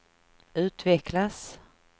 utvecklas